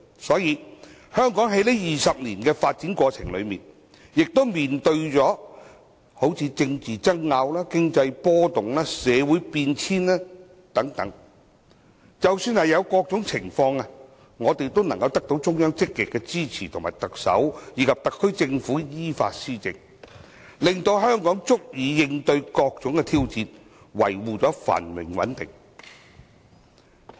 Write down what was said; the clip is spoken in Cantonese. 所以，香港在這20年的發展過程中，也曾面對政制爭拗、經濟波動、社會變遷等，即使遇上各種情況，我們得到中央積極支持特首及特區政府依法施政，令香港足以應對各種挑戰，維護繁榮穩定。